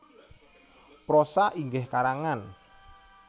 Prosa inggih karangan